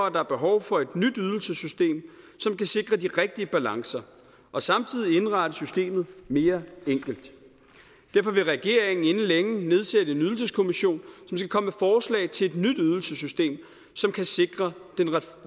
at der er behov for et nyt ydelsessystem som kan sikre de rigtige balancer og samtidig indrette systemet mere enkelt derfor vil regeringen inden længe nedsætte en ydelseskommission som skal komme med forslag til et nyt ydelsessystem som kan sikre